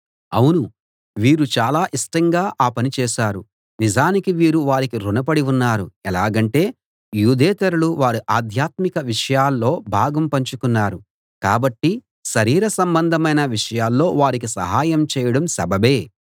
అవును వీరు చాలా ఇష్టంగా ఆ పని చేశారు నిజానికి వీరు వారికి రుణపడి ఉన్నారు ఎలాగంటే యూదేతరులు వారి ఆధ్యాత్మిక విషయాల్లో భాగం పంచుకున్నారు కాబట్టి శరీర సంబంధమైన విషయాల్లో వారికి సహాయం చేయడం సబబే